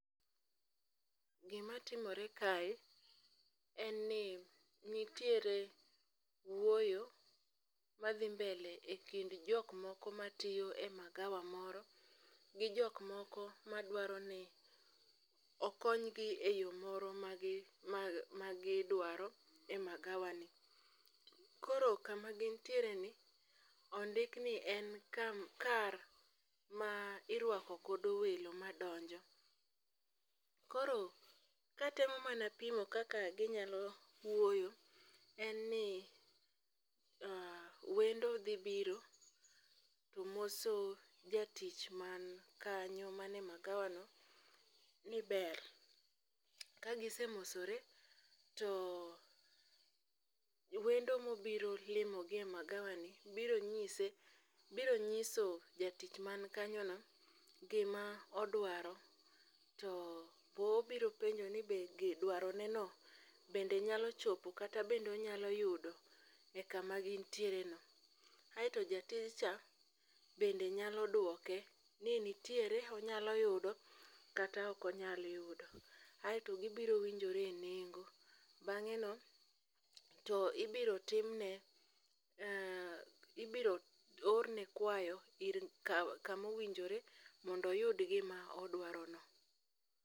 Gima timore kae en ni nitiere wuoyo madhi mbele e kind jok moko ma tiyo e magawa moro, gi jok moko ma dwaro ni okonygi e yo moro ma gi ma gi dwaro e magawa ni. Koro kama gintiere ni ondikni e ka kar ma irwako godo welo ma donjo. Koro katemo mana pimo kaka ginyalo wuoyo, en ni wendo dhi biro to moso jatich man kanyo mane magawa no ni ber. Ka gise mosore, to wendo mobiro limogi e magawa ni biro nyise, biro nyiso jatich man kanyo no gima odwaro. To bo obiro penjo ni be dwaro ne no bende nyalo chopo kata bendonyalo yudo e kama gintiere no. Aeto jatij cha bende nyalo duoke ni nitiere onyalo yudo kata okonyal yudo, aeto gibiro winjore e nengo. Bang'e no to ibiro tim ne, ibiro or ne kwayo ir ka kamowinjore mondoyud gima odwaro no.